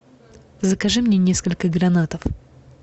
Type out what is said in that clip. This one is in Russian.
закажи мне несколько гранатов